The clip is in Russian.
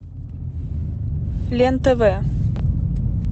лен тв